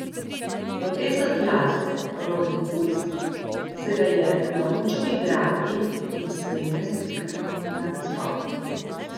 Profesor glasbe Robi Fuks se ga je naučil igrati in spremlja skupino na nastopih.